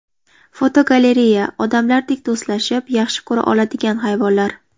Fotogalereya: Odamlardek do‘stlashib, yaxshi ko‘ra oladigan hayvonlar.